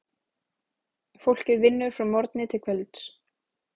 Fólkið vinnur frá morgni til kvölds.